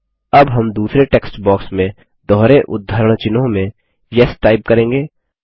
अब हम दूसरे टेक्स्ट बॉक्स में दोहरे उद्धरण चिह्नों में येस टाइप करेंगे